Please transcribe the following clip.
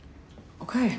ókei